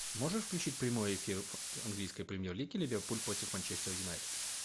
можешь включить прямой эфир английской премьер лиги ливерпуль против манчестер юнайтед